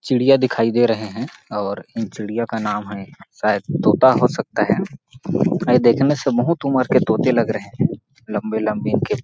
चिड़िया दिखाई दे रहै है और चिड़िया का नाम है शायद तोता हो सकता है अइ देखने से बहुत उमर के तोते लग रहै है लंबे-लंबे इनके --